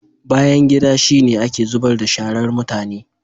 Bayangida shi ne ake zubar da sharar mutane.